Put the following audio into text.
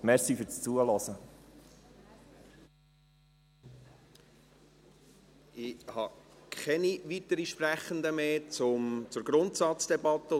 Ich habe zur Grundsatzdebatte und zur Rückweisung keinen Sprechenden mehr auf der Liste.